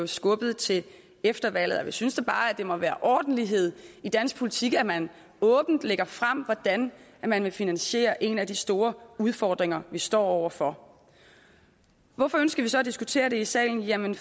skubbet til efter valget og vi synes da bare at det må være ordentlighed i dansk politik at man åbent lægger frem hvordan man vil finansiere en af de store udfordringer vi står over for hvorfor ønsker vi så at diskutere det i salen jamen